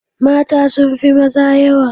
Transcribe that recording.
Mata sun fi maza yawa.